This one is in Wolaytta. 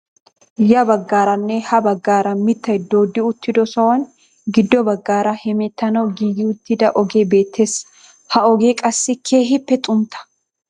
Ya baggaarnne ha baggaara mittay dooddi uttido sohuwaan giddo baggaara hemeettanawu giigi uttida ogee beettees. ha ogee qassi keehippe xuntta.